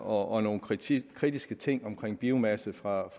og nogle kritiske kritiske ting omkring biomasse fra